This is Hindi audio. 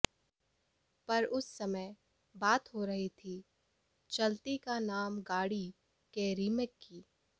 पर उस समय बात हो रही थी चलती का नाम गाड़ी के रीमेक की